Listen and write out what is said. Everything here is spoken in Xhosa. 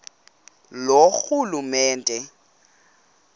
loorhulumente